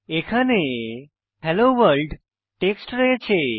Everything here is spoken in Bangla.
এখানে হেলো ভোর্ল্ড টেক্সট রয়েছে